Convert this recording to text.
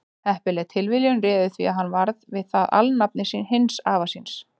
heppileg tilviljun réði því að hann varð við það alnafni hins afa síns